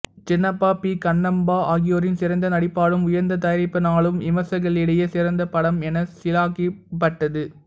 Chinappa P Kannamba ஆகியோரின் சிறந்த நடிப்பாலும் உயர்ந்த தயாரிப்பினாலும் விமர்சகர்களிடையே சிறந்த படம் என சிலாகிக்கப்பட்டது